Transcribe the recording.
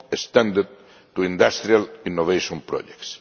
extended to industrial innovation projects.